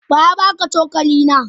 Wa ya baka cokali na?